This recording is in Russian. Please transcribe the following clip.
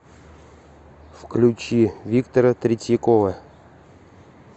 включи виктора третьякова